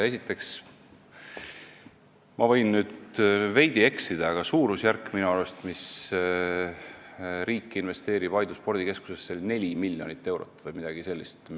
Esiteks, ma võin nüüd veidi eksida, aga minu arust on suurusjärk, kui palju riik investeerib Aidu spordikeskusesse, 4 miljonit eurot või midagi sellist.